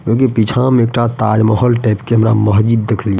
क्यूँ की पीछा म एकटा ताजमहल टाइप के हमरा मस्जिद देखलि।